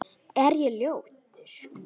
Er ég ljótur?